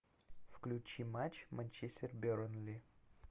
включи матч манчестер бернли